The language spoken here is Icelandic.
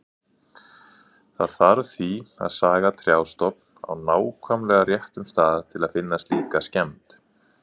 Það þarf því að saga trjástofn á nákvæmlega réttum stað til að finna slíka skemmd.